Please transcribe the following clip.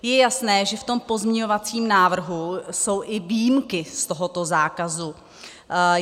Je jasné, že v tom pozměňovacím návrhu jsou i výjimky z tohoto zákazu.